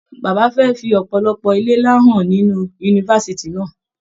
Bàbá rẹ fí ọpọlọpọ ilé nlá hàn nínú yunifásítì náà.